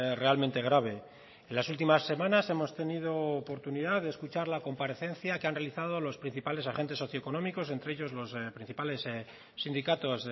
realmente grave en las últimas semanas hemos tenido oportunidad de escuchar la comparecencia que han realizado los principales agentes socioeconómicos entre ellos los principales sindicatos